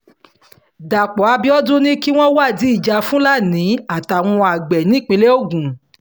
dápò àbíọdún ni kí wọ́n wádìí ìjà fúlàní àtàwọn àgbẹ̀ nípìnlẹ̀ ogun